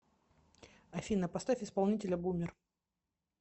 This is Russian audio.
афина поставь исполнителя бумер